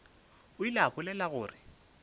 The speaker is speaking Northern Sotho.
o ile a bolela gore